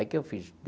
Aí o que eu fiz?